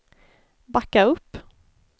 backa upp